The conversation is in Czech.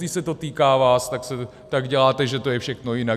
Když se to týká vás, tak děláte, že to je všechno jinak.